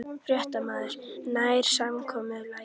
Fréttamaður: Nær samkomulagið?